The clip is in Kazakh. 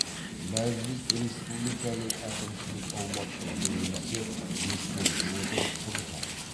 мәжіліс республиканың әкімшілік аумақтық бөлінісі ескеріле отырып құрылған